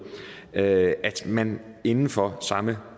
at man inden for samme